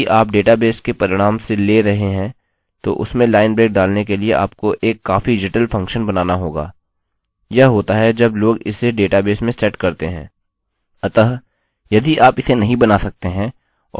तो यदि किसी कारण से आपको html का उपयोग नहीं करना है या यदि आप डेटाबेस के परिणाम से ले रहे हैं तो उसमें लाइन ब्रेक डालने के लिए आपको एक काफी जटिल फंक्शन बनाना होगा